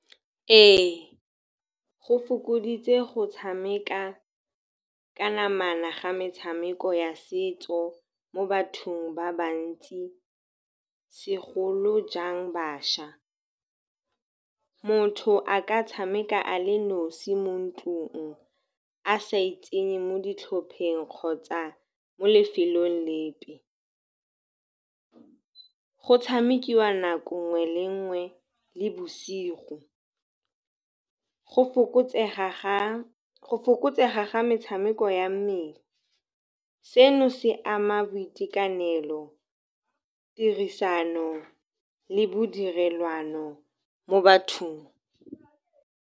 Ee, go fokoditse go tshameka ka namana ga metshameko ya setso mo bathong ba bantsi segolojang bašwa. Motho a ka tshameka a le nosi mo ntlung a sa itsenye mo ditlhopheng kgotsa mo lefelong lepe. Go tshamekiwa nako nngwe le ngwe le bosigo. Go fokotsega ga metshameko ya mmele, seno se ama boitekanelo, tirisano le bodirelwano mo bathong.